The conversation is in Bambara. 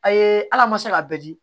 A ye ala ma se k'a bɛɛ di